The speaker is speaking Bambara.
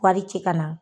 Wari ci ka na